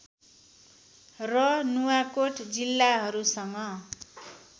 र नुवाकोट जिल्लाहरूसँग